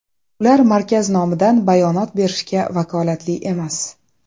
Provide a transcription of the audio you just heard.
Ular markaz nomidan bayonot berishga vakolatli emas.